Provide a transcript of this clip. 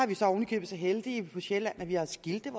vi så oven i købet så heldige på sjælland at vi har skilte